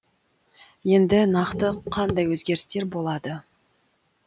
енді нақты қандай өзгерістер болады